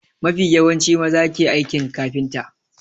Mafi yawanci maza ke aikin kafinta.